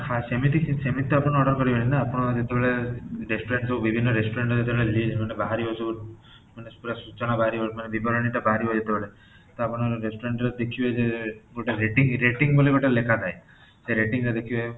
ହଁ, ସେମିତି କିଛି ସେମିତି ତ ଆପଣ order କରିବେନି ନା ଆପଣ ଯେତେବେଳେ restaurant ଯୋଉ ବିଭିର୍ଣ୍ଣ restaurant ଯେତେବେଳେ list ବାହାରିବ ସବୁ ମାନେ ପୁରା ସୂଚନା ବାହାରିବା ବିବରଣୀ ଟା ବାହାରିବା ଯେତେବେଳେ ତ ଆପଣ restaurant ରେ ଦେଖିବେ ଗୋଟେ rating rating ବୋଲି ଗୋଟେ ଲେଖାଥାଏ ସେଇ rating ରେ ଦେଖିବେ